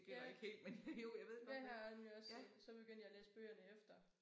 Ja det har jeg nemlig også så begyndte jeg at læse bøgerne efter